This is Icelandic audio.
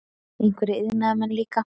Einhverjir iðnaðarmenn líka.